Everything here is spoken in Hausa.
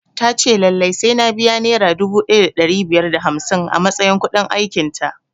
Ta ce lallai sai na biya nera dubu ɗaya da ɗari biyar da hamsin a matsayin kuɗin aikin ta